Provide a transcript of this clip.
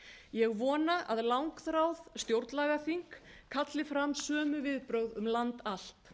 ég vona að langþráð stjórnlagaþing kalli fram sömu viðbrögð um land allt